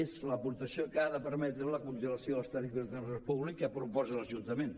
és l’aportació que ha de permetre la congelació de les tarifes de transport públic que proposa l’ajuntament